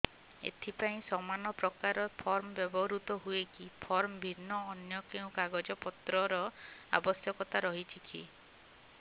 ଏଥିପାଇଁ ସମାନପ୍ରକାର ଫର୍ମ ବ୍ୟବହୃତ ହୂଏକି ଫର୍ମ ଭିନ୍ନ ଅନ୍ୟ କେଉଁ କାଗଜପତ୍ରର ଆବଶ୍ୟକତା ରହିଛିକି